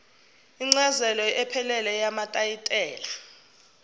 incazelo ephelele yetayitela